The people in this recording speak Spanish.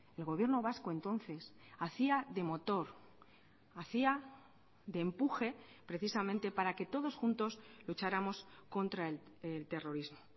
el gobierno vasco entonces hacía de motor hacía de empuje precisamente para que todos juntos lucháramos contra el terrorismo